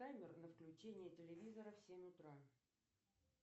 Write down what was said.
таймер на включение телевизора в семь утра